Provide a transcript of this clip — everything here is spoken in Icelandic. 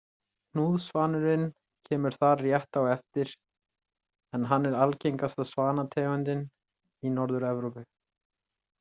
Hnúðsvanurinn kemur þar rétt á eftir en hann er algengasta svanategundin í Norður-Evrópu.